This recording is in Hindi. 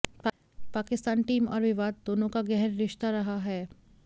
पाकिस्तान टीम और विवाद दोनों का गहर रिश्ता रहा है